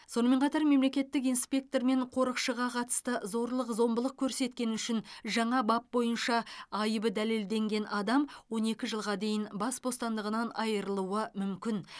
сонымен қатар мемлекеттік инспектор мен қорықшыға қатысты зорлық зомбылық көрсеткені үшін жаңа бап бойынша айыбы дәлелденген адам он екі жылға дейін бас бостандығынан айырылуы мүмкін